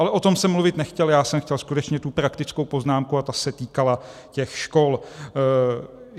Ale o tom jsem mluvit nechtěl, já jsem chtěl skutečně tu praktickou poznámku a ta se týkala těch škol.